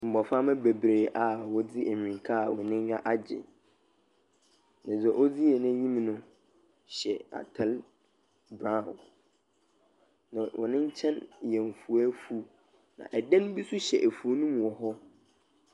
Mmɔframba bebree aa wɔdze amirika aa wɔn anyiwa agyi. Na dza ɔdze anyim no hyɛ atal braon na wɔn nkyɛn yɛ nfuwefuw na ɛdan bi so hyɛ efuw no mu wɔ hɔ.